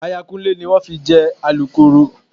Aya Kúnlé ni wọ́n fi jẹ Alukooro